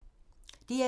DR2